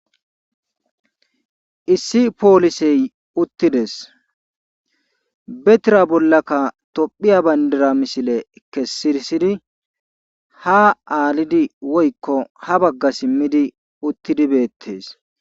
Issi poolisey uttides betira bollaka tophiya banddira misile kessirsidi haa aalidi woykko ha bagga simmidi uttidi beettees.